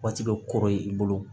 Waati bɛ kɔrɔ ye i bolo